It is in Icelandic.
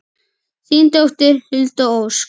Þín dóttir, Hulda Ósk.